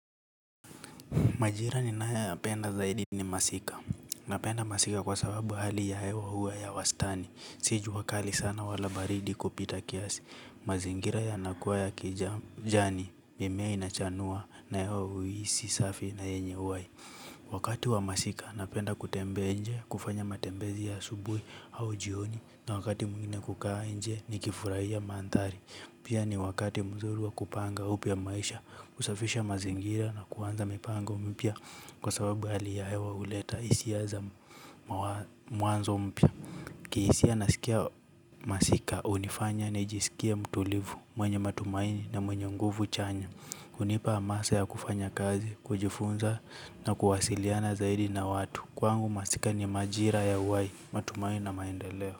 Majira ninayoyapenda zaidi ni masika. Napenda masika kwa sababu hali ya hewa huwa ya wastani. Si jua kali sana wala baridi kupita kiasi. Mazingira yanakuwa ya kijani, mimea inachanua na hewa huisi safi na yenye uhai. Wakati wa masika napenda kutembea nje, kufanya matembezi asubuhi au jioni. Na wakati mwingine kukaa nje nikifurahia maandhari. Pia ni wakati mzuri wa kupanga upya maisha. Kusafisha mazingira na kuanza mipango mpya kwa sababu hali ya hewa huleta hisia za mwanzo mpya. Kihisia nasikia masika hunifanya nijisikie mtulivu, mwenye matumaini na mwenye nguvu chanya. Hunipa hamasa ya kufanya kazi, kujifunza na kuwasiliana zaidi na watu. Kwangu masika ni majira ya uhai, matumaini na maendeleo.